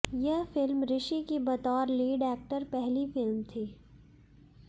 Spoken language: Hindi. यह फिल्म ऋषि की बतौर लीड एक्टर पहली फिल्म थी